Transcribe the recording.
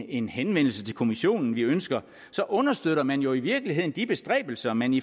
en henvendelse til kommissionen vi ønsker understøtter man jo i virkeligheden de bestræbelser man i